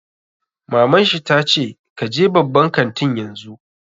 Maman shi ta ce 'Ka je babban kantin yanzu'!